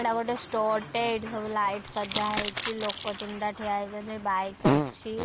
ଏଇଟା ଗୋଟେ ଷ୍ଟୋର୍‌ ଟେ ଏଇଠି ସବୁ ଲାଇଟ୍‌ ସଜା ହେଇଛି ଲୋକ ତିନିଟା ଠିଆ ହେଇଛନ୍ତି ବାଇକ ଅଛି।